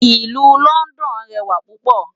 Ilù Lòndòn rèwá púpò